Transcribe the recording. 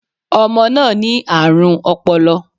Ọmọ náà ní àrùn ọpọlọ